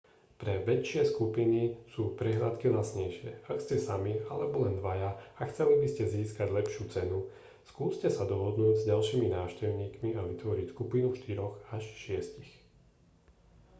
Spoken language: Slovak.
pre väčšie skupiny sú prehliadky lacnejšie ak ste sami alebo len dvaja a chceli by ste získať lepšiu cenu skúste sa dohodnúť s ďalšími návštevníkmi a vytvoriť skupinu štyroch až šiestich